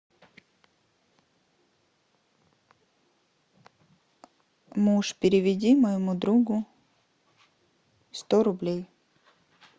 муж переведи моему другу сто рублей